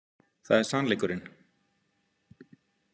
Það er sannleikurinn.